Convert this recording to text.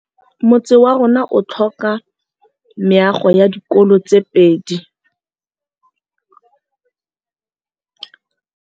Motse warona o tlhoka meago ya dikolô tse pedi.